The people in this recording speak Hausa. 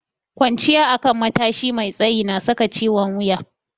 Kwanciya akan matashi mai tsayi na saka ciwon wuya.